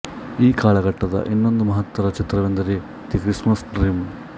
ಈ ಕಾಲಘಟ್ಟದ ಇನ್ನೊಂದು ಮಹತ್ತರ ಚಿತ್ರವೆಂದರೆ ದಿ ಕ್ರಿಸ್ಮಸ್ ಡ್ರೀಮ್